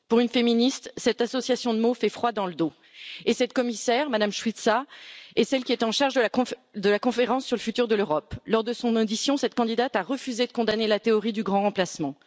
Pour une féministe, cette association de mots fait froid dans le dos et cette commissaire, Mme Suica, est celle qui est chargée de la conférence sur le futur de l'Europe. Lors de son audition, cette candidate a refusé de condamner la théorie du grand remplacement.